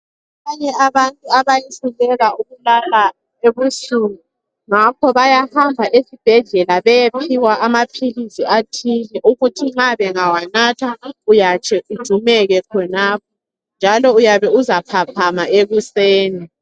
Abanye abantu abehluleka ukulala ebusuku ngakho bayahamba esibhedlela beyephiwa ama philisi athile ukuthi nxa bengawanatha uyahle ujumeke khonapho. Njalo uyabe uzaphaphama ekuseni .